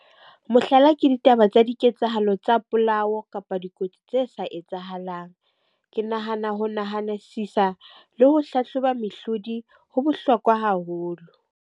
Mohlala ke ditaba tsa diketsahalo tsa polao kapa dikotsi tse sa etsahalang. Ke nahana ho nahanesisa le ho hlahloba mehlodi ho bohlokwa haholo.